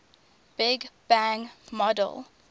big bang model